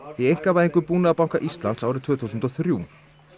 í einkavæðingu Búnaðarbanka Íslands árið tvö þúsund og þrjú